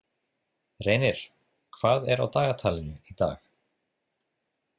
Reynir, hvað er á dagatalinu í dag?